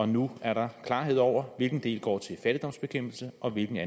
nu er der klarhed over hvilken del der går til fattigdomsbekæmpelse og hvilken